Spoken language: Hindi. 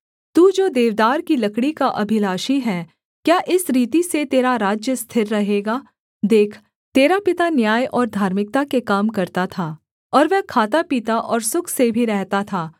तू जो देवदार की लकड़ी का अभिलाषी है क्या इस रीति से तेरा राज्य स्थिर रहेगा देख तेरा पिता न्याय और धार्मिकता के काम करता था और वह खाता पीता और सुख से भी रहता था